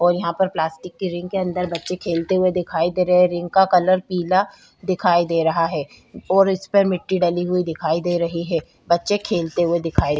और यहाँ पे प्लास्टिक रिंग के अन्दर बच्चे खेलते हुए दिखाई दे रहे है रिंग का कलर पीला दिखाई दे रहा है और इस पर मिट्टी डली हुई दिखाई दे रही है बच्चे खेलते हुए दिखाई --